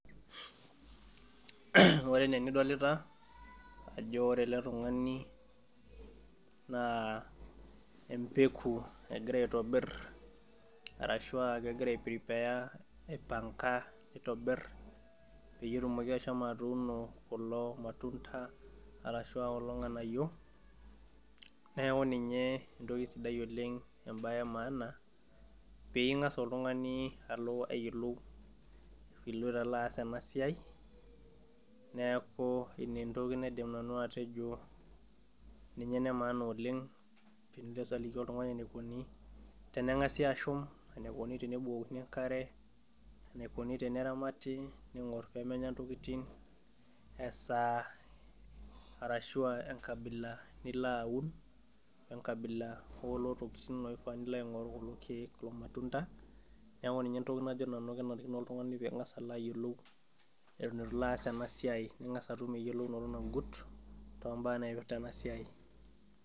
Ore enaa enidolita ajo ore ele tungani naa empeku egira aitobir arashu aa kegira ai prepare aitobir, peyie etumoki ashomo atuuno kulo matunda, arashu aa kulo nganayio, neeku ninye entoki sidai oleng ebae emaana. pee ingas oltungani alo ayiolou iloito alo aas ena siai, neeku ina entoki naidim nanu atejo, ninye ene maana oleng, tenilo aliki oltungani enikoni tenangasi ashum, enikoni tenebukokini enkare, Aiko nejia, enikoni teneramati ningor pee menya ntokitin, esaa arashu aa enkabila nilo aun, enkabila oo lelo tokitin, loofaa nilo aing'oru olmatunda, neeku ninye entoki najo nanu kenarikino oltungani pee ingas alo ayiolou eton eitu ilo aas ena siai niyiolou eyiolounoto nagit, mbaa naipirta ena siai.